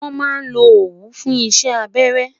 wọn má lo owu fún isé abẹrẹ